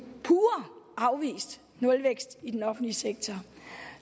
pure afvist nulvækst i den offentlige sektor